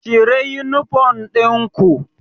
Cire uniform ɗin ku